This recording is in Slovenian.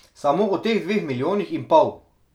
Samo o teh dveh milijonih in pol!